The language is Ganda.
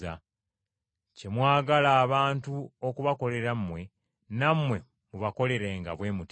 Kye mwagala abantu okubakoleranga, nammwe mubibakoleranga bwe mutyo.”